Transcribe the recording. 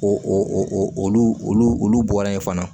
O olu olu olu bɔra yen fana